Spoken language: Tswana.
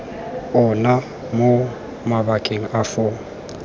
ona mo mabakeng a foo